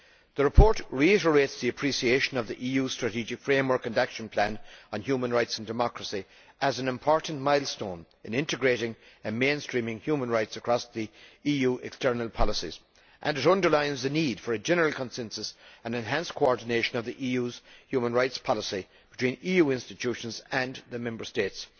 The report reiterates the appreciation of the EU strategic framework and action plan on human rights and democracy as an important milestone in integrating and mainstreaming human rights across the EU's external policies, and it underlines the need for a general consensus and enhanced coordination of the EU's human rights policy between EU institutions and the Member States.